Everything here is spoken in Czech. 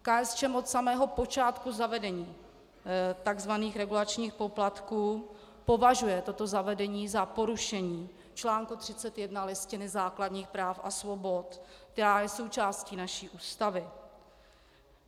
KSČM od samého počátku zavedení tzv. regulačních poplatků považuje toto zavedení za porušení článku 31 Listiny základních práv a svobod, která je součástí naší Ústavy.